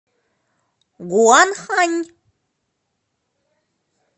гуанхань